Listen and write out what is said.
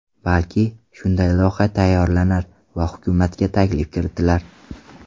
Balki, shunday loyiha tayyorlanar va hukumatga taklif kiritilar.